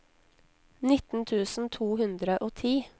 nitten tusen to hundre og ti